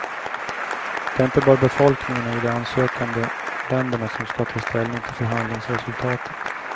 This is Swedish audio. Det är inte bara befolkningarna i de ansökande länderna som ska ta ställning till förhandlingsresultatet.